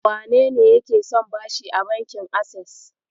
Wanene yake son bashi a bankin Ases?